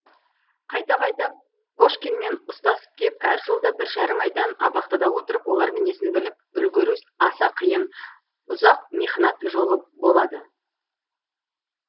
қайта қайта кошкинмен ұстасып кеп әр жолда бір жарым айдан абақтыда отырып олар мінезін біліп үлгіру аса қиын ұзақ михнат жолы болады